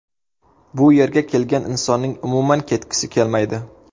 Bu yerga kelgan insonning umuman ketgisi kelmaydi.